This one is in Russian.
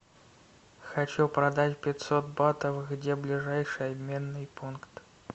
хочу продать пятьсот батов где ближайший обменный пункт